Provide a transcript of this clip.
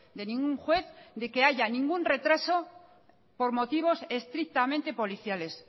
de ningún juez de que haya ningún retraso por motivos estrictamente policiales